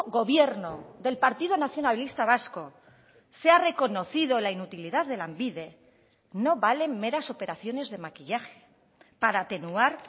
gobierno del partido nacionalista vasco se ha reconocido la inutilidad de lanbide no valen meras operaciones de maquillaje para atenuar